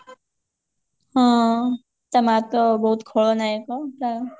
ହଁ ତା ମାଆ ତ ବହୁତ ଖଳନାୟକ